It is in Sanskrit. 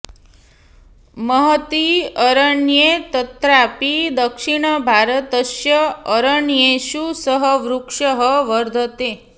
महति अरण्ये तत्रापि दक्षिणभारतस्य अरण्येषु सः वृक्षः वर्धते